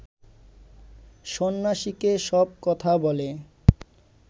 সন্ন্যাসীকে সব কথা বলে